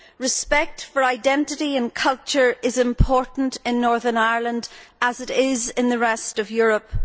Respect for identity and culture is important in Northern Ireland, as it is in the rest of Europe.